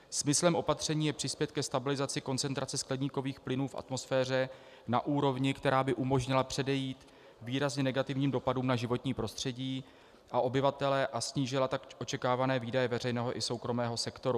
Smyslem opatření je přispět ke stabilizaci koncentrace skleníkových plynů v atmosféře na úrovni, která by umožnila předejít výrazně negativním dopadům na životní prostředí a obyvatele a snížila tak očekávané výdaje veřejného i soukromého sektoru.